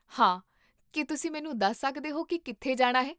ਹਾਂ, ਕੀ ਤੁਸੀਂ ਮੈਨੂੰ ਦੱਸ ਸਕਦੇ ਹੋ ਕੀ ਕਿੱਥੇ ਜਾਣਾ ਹੈ?